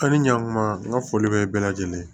An ni ɲankuma n ka foli bɛ bɛɛ lajɛlen ye